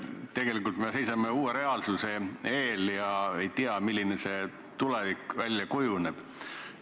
Tegelikult me seisame uue reaalsuse eel ja ei tea, milliseks tulevik kujuneb.